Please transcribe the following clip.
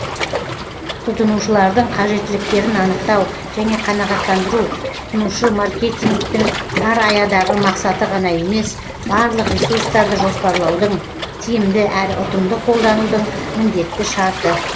тұтынушылардың қажеттіліктерін анықтау және қанағаттандыру тұтынушы маркетингтің тар аядағы мақсаты ғана емес барлық ресурстарды жоспарлаудың тиімді әрі ұтымды қолданудың міндетті шарты